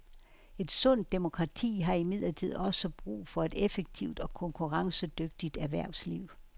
Et sundt demokrati har imidlertid også brug for et effektivt og konkurrencedygtigt erhvervsliv.